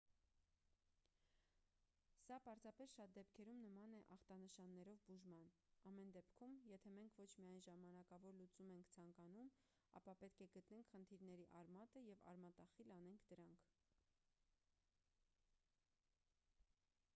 սա պարզապես շատ դեպքերում նման է ախտանշաններով բուժման ամեն դեպքում եթե մենք ոչ միայն ժամանակավոր լուծում ենք ցանկանում ապա պետք է գտնենք խնդիրների արմատը և արմատախիլ անենք դրանք